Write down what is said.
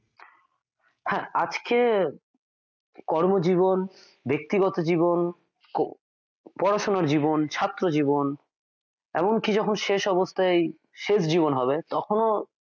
হ্যাঁ আজকের কর্মজীবন ব্যক্তিগত জীবন পড়াশোনো জীবন ছাত্র জীবন এমনকি যখন শেষ অবস্থায় শেষ জীবন হবে তখনও